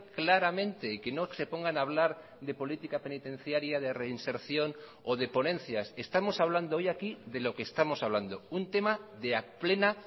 claramente y que no se pongan a hablar de política penitenciaria de reinserción o de ponencias estamos hablando hoy aquí de lo que estamos hablando un tema de plena